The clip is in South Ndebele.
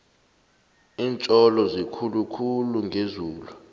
lintjolo zikhulu khulu ngezulu